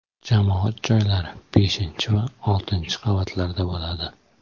Jamoat joylari beshinchi va oltinchi qavatlarda bo‘ladi.